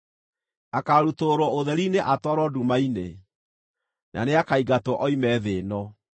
Akaarutũrũrwo ũtheri-inĩ atwarwo nduma-inĩ na nĩakaingatwo oime thĩ ĩno.